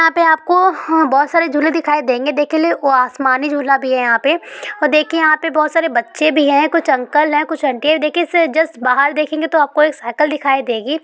यहाँ पे आपको बहुत सारे झूले दिखाई देंगे। देखे ले वो आसमानी झूला भी है यहाँ पे और देखिए यहाँ पे बहुत सारे बच्चे भी है कुछ अंकल है कुछ आंटी है देखिए इससे जस्ट बाहर देखेंगे तो कोई साइकिल दिखाई देंगी।